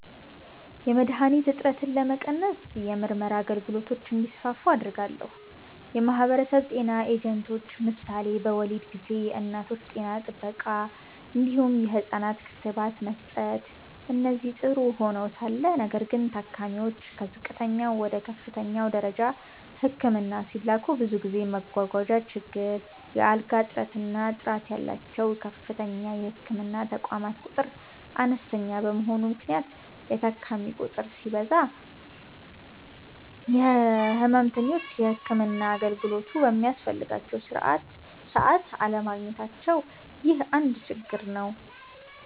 .የመድሀኒት እጥረትን ለመቀነስ የምርመራ አገልግሎቶች እንዲስፋፉ አደርጋለሁ። .የማህበረሰብ ጤና ኤጀንቶች ምሳሌ በወሊድ ጊዜ የእናቶች ጤና ጥበቃ እንዲሁም የህፃናት ክትባት መስጠት እነዚህ ጥሩ ሆነዉ ሳለ ነገር ግን ታካሚዎች ከዝቅተኛ ወደ ከፍተኛ ደረጃ ህክምና ሲላኩ ብዙ ጊዜ መጓጓዣ ችግር፣ የአልጋ እጥረት እና ጥራት ያላቸዉ ከፍተኛ የህክምና ተቋማት ቁጥር አነስተኛ በመሆኑ ምክንያት የታካሚ ቁጥር ሲበዛ ህመምተኞች የህክምና አገልግሎቱ በሚያስፈልጋቸዉ ሰዓት አለማግኘታቸዉ ይህ አንድ ችግር ነዉ።